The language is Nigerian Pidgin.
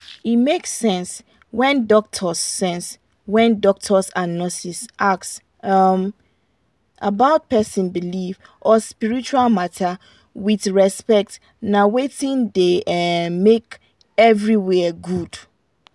e make sense when doctors sense when doctors and nurses ask um about person belief or spiritual matter with respect na wetin da um make everywhere good